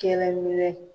Kɛnɛ minɛ